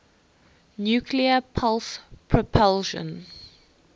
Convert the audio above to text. nuclear pulse propulsion